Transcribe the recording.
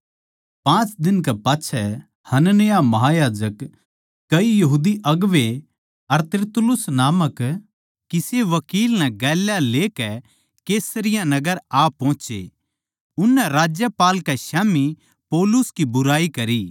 पाँच दिन कै पाच्छै हनन्याह महायाजक कई यहूदी अगुवें अर तिरतुल्लुस नामक किसे वकील नै गेल्या लेकै कैसरिया नगर आ पोहचे उननै राज्यपाल कै स्याम्ही पौलुस पै बुराई करी